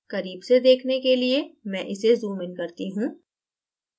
करीब से देखने के लिए मैं इसे zoom in करती हूँ